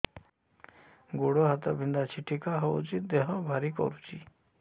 ଗୁଡ଼ ହାତ ବିନ୍ଧା ଛିଟିକା ହଉଚି ଦେହ ଭାରି କରୁଚି